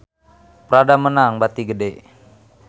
Prada meunang bati gede